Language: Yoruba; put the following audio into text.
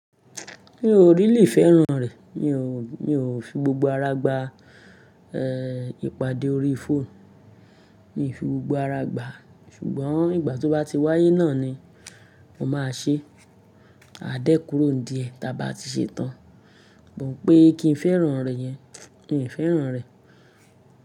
Mi ò really fẹ́ràn rẹ̀ mi ò, mi ò fi gbogbo ara gba ìpàdé orí fóònù, mi i fi gbogbo ara gba. Ṣùgbọ́n ìgbà tó bá ti wáyé náà ni mo máa ṣe e. A dé kúrò ní díẹ̀ tí a bá ti ṣe tán. But pé kí n fẹ́ràn rẹ́ yẹn, mi ò fẹ́ràn rẹ̀.